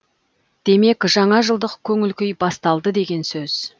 демек жаңажылдық көңіл күй басталды деген сөз